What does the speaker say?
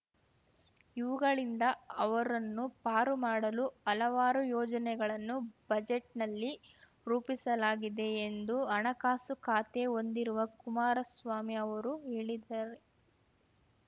ಇವುಗಳಿಂದ ಅವರನ್ನು ಪಾರು ಮಾಡಲು ಹಲವಾರು ಯೋಜನೆಗಳನ್ನು ಬಜೆಟ್‌ನಲ್ಲಿ ರೂಪಿಸಲಾಗಿದೆ ಎಂದು ಹಣಕಾಸು ಖಾತೆ ಹೊಂದಿರುವ ಕುಮಾರಸ್ವಾಮಿ ಅವರು ಹೇಳಿದ್ದಾರೆ